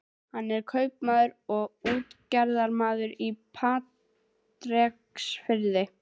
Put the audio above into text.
Hann er kaupmaður og útgerðarmaður á Patreksfirði.